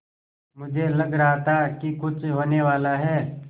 मुझे लग रहा था कि कुछ होनेवाला है